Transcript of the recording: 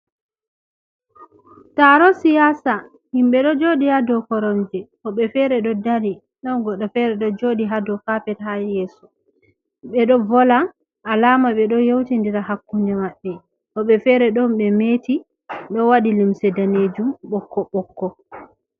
Taro siyasa, himɓe ɗo jooɗi haa dow koromje woɓɓe feere ɗo dari, ɗon goɗɗo feere ɗo jooɗi haa dow kapet haa yeeso ɓe ɗo wolwa, alaama ɓe ɗo yeuti ndira hakkunde maɓɓe, woɓɓe feere ɗon ɓe meeti ɗo waɗi limse daneejum ɓokko-ɓokko.